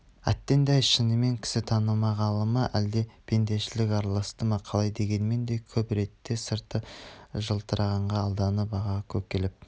әттеген-ай шынымен кісі танымағаны ма әлде пендешілік араласты ма қалай дегенмен де көп ретте сырты жылтырағанға алданып аға-көкелеп